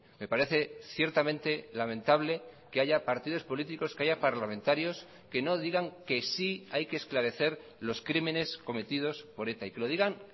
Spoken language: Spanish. me parece ciertamente lamentable que haya partidos políticos que haya parlamentarios que no digan que sí hay que esclarecer los crímenes cometidos por eta y que lo digan